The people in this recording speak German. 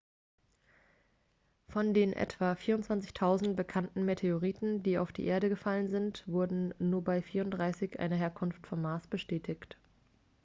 von den etwa 24.000 bekannten meteoriten die auf die erde gefallen sind wurde nur bei 34 eine herkunft vom mars bestätigt